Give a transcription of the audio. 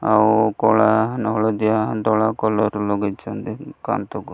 ଆଉ କଳା ନା ହଳଦୀଆ ଧଳା କଲର୍ ଲଗେଇଛନ୍ତି କାନ୍ଥକୁ।